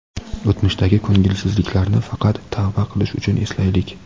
O‘tmishdagi ko‘ngilsizliklarni faqat tavba qilish uchun eslaylik.